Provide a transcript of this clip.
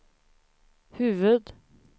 huvud